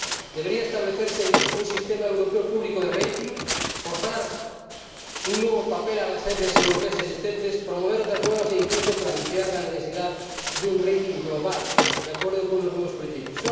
Debería establecerse un sistema europeo público de calificación, forzar un nuevo papel para las agencias europeas existentes, promover otras nuevas e incluso plantear la necesidad de una calificación global, de acuerdo con nuevos principios.